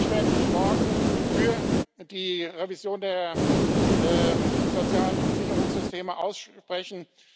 Ich werde mich morgen für die Revision der sozialen Sicherungssysteme aussprechen.